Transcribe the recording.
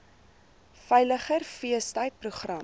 veiliger feestyd program